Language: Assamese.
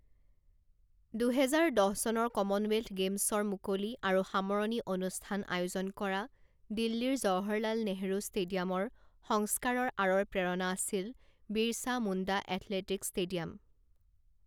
দুহেজাৰ দহ চনৰ কমনৱেলথ গেমছৰ মুকলি আৰু সামৰণি অনুষ্ঠান আয়োজন কৰা দিল্লীৰ জৱাহৰলাল নেহৰু ষ্টেডিয়ামৰ সংস্কাৰৰ আঁৰৰ প্ৰেৰণা আছিল বীৰছা মুণ্ডা এথলেটিকছ ষ্টেডিয়াম।